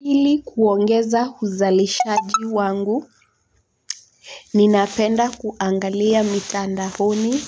Ili kuongeza uzalishaji wangu. Ninapenda kuangalia mitandaoni